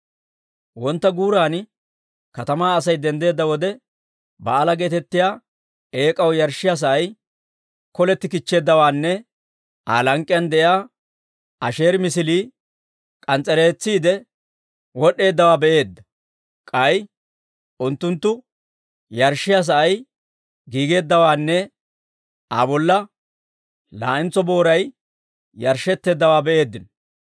Wontta guuran katamaa Asay denddeedda wode, Ba'aala geetettiyaa eek'aw yarshshiyaa sa'ay koletti kichcheeddawaanne Aa lank'k'iyaan de'iyaa Asheeri misilii k'ans's'ettiide wod'd'eeddawaa be'eedda. K'ay unttunttu yarshshiyaa sa'ay giigeeddawaanne Aa bolla laa'entso booray yarshshetteeddawaa be'eeddino.